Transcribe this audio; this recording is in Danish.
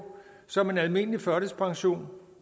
som en almindelig førtidspension